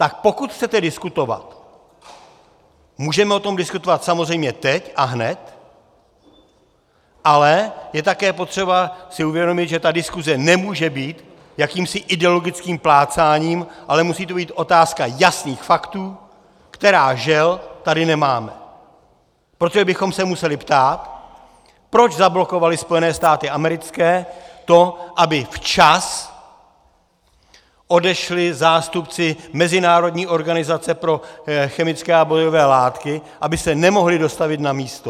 Tak pokud chcete diskutovat, můžeme o tom diskutovat samozřejmě teď a hned, ale je také potřeba si uvědomit, že ta diskuse nemůže být jakýmsi ideologickým plácáním, ale musí to být otázka jasných faktů, která, žel, tady nemáme, protože bychom se museli ptát, proč zablokovaly Spojené státy americké to, aby včas odešli zástupci mezinárodní organizace pro chemické a bojové látky, aby se nemohli dostavit na místo.